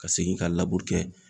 Ka segin ka laburu kɛ